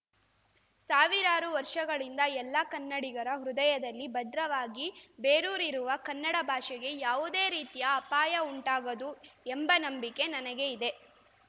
ಸಾವಿರಾರು ವರ್ಷಗಳಿಂದ ಎಲ್ಲ ಕನ್ನಡಿಗರ ಹೃದಯದಲ್ಲಿ ಭದ್ರವಾಗಿ ಬೇರೂರಿರುವ ಕನ್ನಡ ಭಾಷೆಗೆ ಯಾವುದೇ ರೀತಿಯ ಅಪಾಯ ಉಂಟಾಗದು ಎಂಬ ನಂಬಿಕೆ ನನಗೆ ಇದೆ